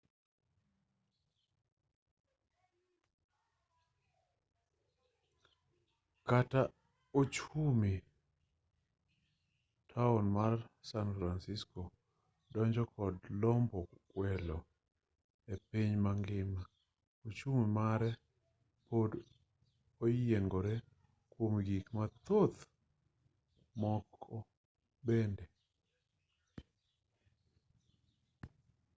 kata ochumi taon mar san francisco dongo kod lombo welo epiny mangima ochumi mare pod oyiengore kuom gik mathoth moko bende